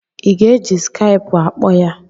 I ga-eji skaipụ akpọ ya?